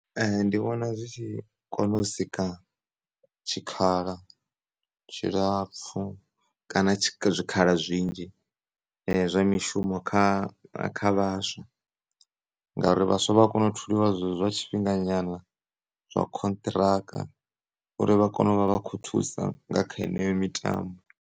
Ndi vhona zwi tshi kona u sika tshikhala tshilapfhu kana zwikhala zwinzhi zwa mishumo kha vhaswa ngauri vhaswa vha a kona u tholiwa zwezwo zwa tshifhinga nyana zwa khonṱhiraka uri vha kone u vha vha kho thusa nga kha yeneyo mitambo.